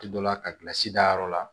Ti dɔ la ka kilasi dayɔrɔ la